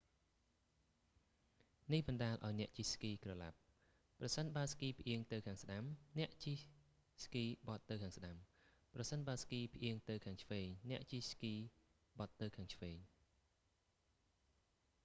នេះបណ្តាលឱ្យអ្នកជិះស្គីក្រឡាប់ ប្រសិនបើស្គីផ្អៀងទៅខាងស្តាំ អ្នកជិះស្គីបត់ទៅខាងស្តាំ ប្រសិនបើស្គីផ្អៀងទៅខាងឆ្វេងអ្នកជិះស្គីបត់ទៅខាងឆ្វេង